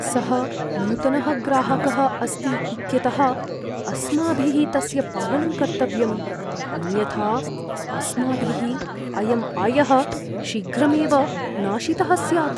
सः नूतनः ग्राहकः अस्ति इत्यतः अस्माभिः तस्य पालनं कर्तव्यम्, अन्यथा अस्माभिः अयं आयः शीघ्रमेव नाशितः स्यात्।